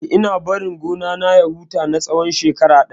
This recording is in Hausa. Eh, ina barin gona na ya huta na tsawon shekara ɗaya.